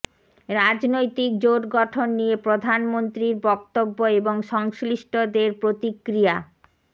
রাজনৈতিক জোট গঠন নিয়ে প্রধানমন্ত্রীর বক্তব্য এবং সংশ্লিষ্টদের প্রতিক্রিয়া